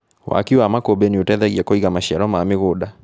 Waki wa makũmbĩ nĩũteithagia kũiga maciaro ma mĩgũnda.